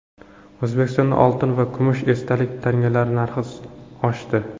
O‘zbekistonda oltin va kumush esdalik tangalar narxi oshdi.